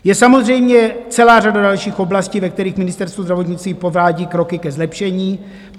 Je samozřejmě celá řada dalších oblastí, ve kterých Ministerstvo zdravotnictví provádí kroky ke zlepšení.